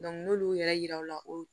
n'olu yɛrɛ yirara u la o